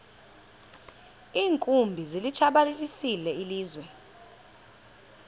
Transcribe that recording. iinkumbi zilitshabalalisile ilizwe